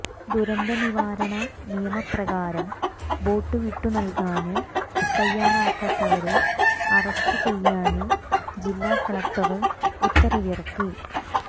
ദുരന്തനിവാരണ നിയമപ്രകാരം ബോട്ട് വിട്ടുനല്കാന് തയ്യാറാകാത്തവരെ അറസ്റ്റ് ചെയ്യാന് ജില്ലാ കലക്ടര് ഉത്തരവിറക്കി